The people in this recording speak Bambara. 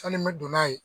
Sanni n bɛ don n'a ye